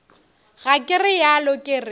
ga ke realo ke re